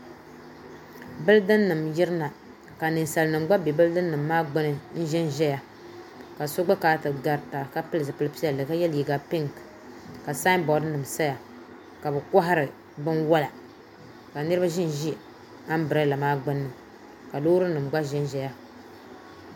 Bildin nim n yirina ka ninsal nim gba bɛ bildin nim maa gbuni n ʒɛnʒɛya ka so gba kana ti garita ka pili zipili piɛlli ka yɛ liiga pink ka saanbood nim saya ka bi kohari binwola ka niraba ʒinʒi anbirɛla maa gbunni ka loori nim gba ʒɛnʒɛya